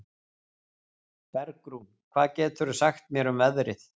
Bergrún, hvað geturðu sagt mér um veðrið?